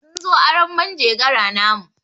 Sun zo arron manjegara namu.